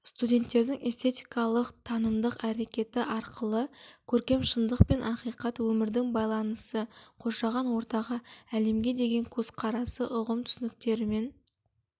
студенттердің эстетикалық танымдық әрекеті арқылы көркем шындық пен ақиқат өмірдің байланысы қоршаған ортаға әлемге деген көзқарасы ұғым түсініктерімен